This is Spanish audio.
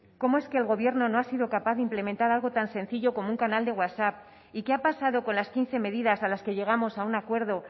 cómo es que el gobierno no ha sido capaz implementar algo tan sencillo con un canal de whatsapp y qué ha pasado con las quince medidas a las que llegamos a un acuerdo